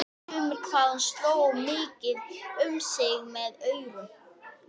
Hann hafði ekki verið að taka ofan fyrir fylgdarliðinu.